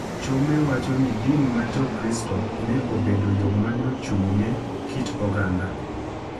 Chome wacho ni din ma Jokristo ne obedo yo ma ne ochung’ne kit oganda